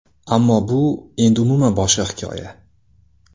Ammo bu endi umuman boshqa hikoya .